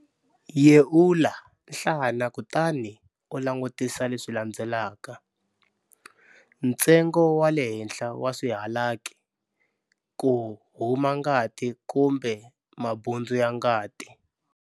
Yeula nhlana kutani u langutisa leswi landzelaka-Ntsengo wa le henhla wa swihalaki, ku huma ngati kumbe mabundzu ya ngati.